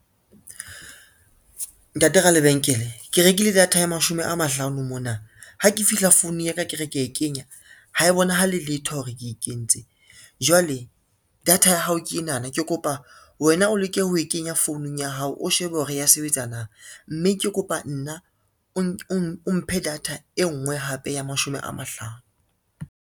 Ntate ralebenkele, ke rekile data ya mashome a mahlano mona, ha ke fihla founung ya ka ke re ke e kenya ha e bonahale letho hore ke e kentse, jwale data ya hao ke enana ke kopa wena o leke ho e kenya founung ya hao o shebe hore ya sebetsa na, mme ke kopa nna o mphe data e ngwe hape ya mashome a mahlano.